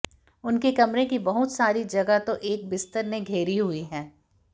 उनके कमरे की बहुत सारी जगह तो एक बिस्तर ने घेरी हुई है